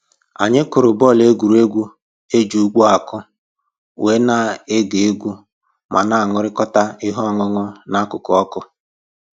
Anyị kụrụ bọọlụ egwuregwu e ji ugbo akụ, wee na-ege egwu ma na-aṅụrịkọta ihe ọṅụṅụ n'akụkụ ọkụ